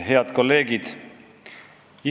Head kolleegid!